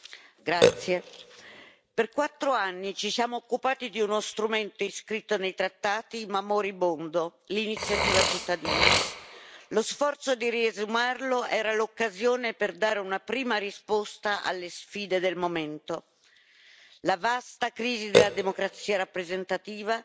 Signor Presidente, onorevoli colleghi, per quattro anni ci siamo occupati di uno strumento iscritto nei trattati ma moribondo l'iniziativa cittadina. Lo sforzo di riesumarlo era l'occasione per dare una prima risposta alle sfide del momento. La vasta crisi della democrazia rappresentativa,